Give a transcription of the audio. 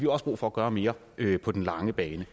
også brug for at gøre mere på den lange bane